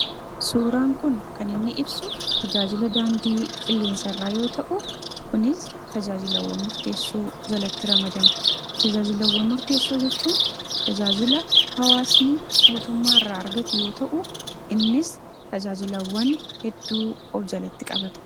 suuraan kun kan inni ibsu tajaajila daandii qilleensa irraa yoo ta'u kunis tajaajilawwan murteessoo jalatti ramadamu tajaajilawwan murteessoo jechuun tajaajila hawaasnii mootummaa irraa argatu yoo ta'u innis tajaajilawwan hedduu of jalatti qabata.